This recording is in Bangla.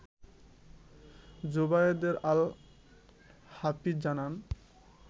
জোবাযায়েদ আল-হাফিজ জানান